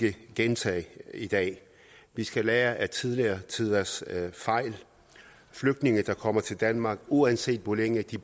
ikke gentage i dag vi skal lære af tidligere tiders fejl flygtninge der kommer til danmark uanset hvor længe de